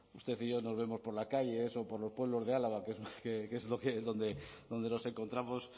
usted y yo no vemos por la calle por los pueblos de álava que es donde nos encontramos